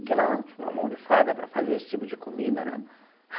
Porque ela tinha uma mão de fada para fazer esse tipo de comida, né?